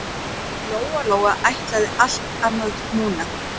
En Lóa Lóa ætlaði allt annað núna.